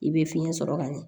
I bɛ fiɲɛ sɔrɔ ka ɲɛ